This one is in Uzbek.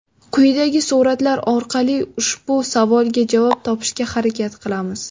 Quyidagi suratlar orqali ushbu savolga javob topishga harakat qilamiz.